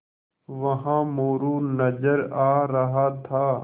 वहाँ मोरू नज़र आ रहा था